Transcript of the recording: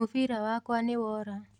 Mũbira wakwa nĩwora.